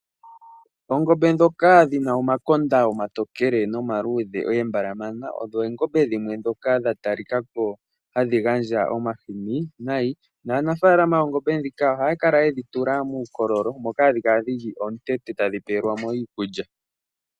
Oongombe dhoka dhina omakonda omatokele nomaluudhi oombalamana , odho oongombe dhimwe dhoka dha talikako hadhi gandja omahini nai , naanafaalama yoongombe dhika ohaya kala yedhi tula muukololo moka hadhi kala omutente moka hadhi peeyelwemo iikulya .